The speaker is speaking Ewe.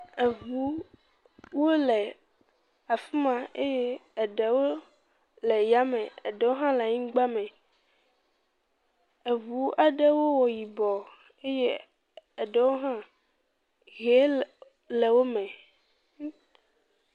Eŋu wole afi ma eye eɖewo le yame eɖewo hã le anyigba me, eŋu aɖewo wo yibɔ eye eɖewo hã he le wo…wo me, ŋ.